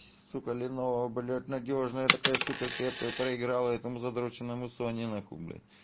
сука ленова блять надёжная такая сука крепкая проиграла этому затраченному сони на хуй блять